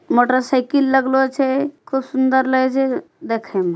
मोटरसाइकिल लगलो छे खूब सुन्दर लगे छे देखेमा।